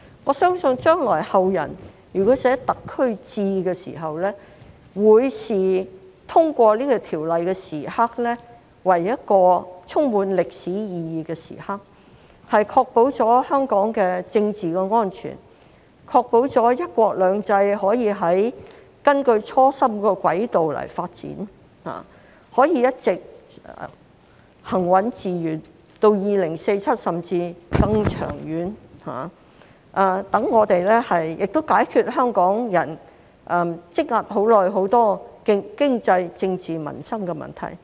我相信如果後人將來撰寫"特區誌"的時候，會視通過《條例草案》的時刻為一個充滿歷史意義的時刻，確保了香港的政治安全，確保了"一國兩制"可以根據初心的軌道發展，可以一直行穩致遠，到2047年甚至更長遠，亦解決香港人積壓已久的多個經濟、政治、民生問題。